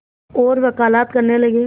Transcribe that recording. और वक़ालत करने लगे